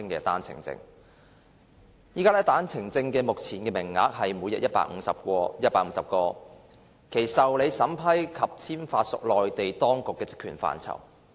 單程證目前的名額為每日150個，其受理、審批及簽發屬內地當局的職權範圍。